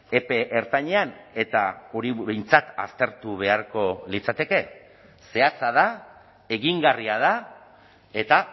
epe ertainean eta hori behintzat aztertu beharko litzateke zehatza da egingarria da eta